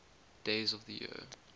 days of the year